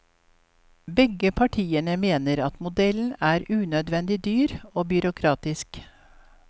Begge partiene mener modellen er unødvendig dyr og byråkratisk.